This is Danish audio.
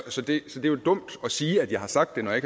så det er jo dumt at sige at jeg har sagt det når jeg